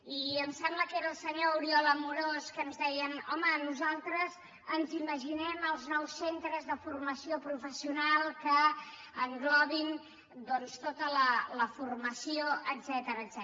i em sembla que era el senyor oriol amorós que ens deia home nosaltres ens imaginem els nous centres de formació professional que englobin doncs tota la formació etcètera